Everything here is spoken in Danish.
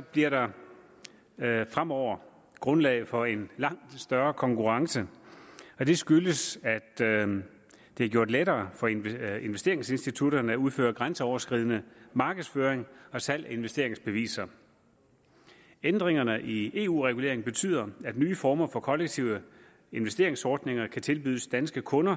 bliver der fremover grundlag for en langt større konkurrence og det skyldes at det er gjort lettere for investeringsinstitutterne at udføre grænseoverskridende markedsføring og salg af investeringsbeviser ændringerne i eu reguleringen betyder at nye former for kollektive investeringsordninger kan tilbydes danske kunder